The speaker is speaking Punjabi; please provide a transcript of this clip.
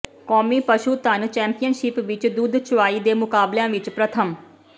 ਕੌਮੀ ਪਸ਼ੂ ਧਨ ਚੈਂਪੀਅਨਸ਼ਿਪ ਵਿੱਚ ਦੁੱਧ ਚੁਆਈ ਦੇ ਮੁਕਾਬਲਿਆਂ ਵਿੱਚ ਪ੍ਰਥਮ